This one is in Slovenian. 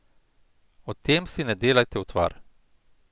O tem si ne delajte utvar.